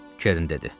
Kern dedi.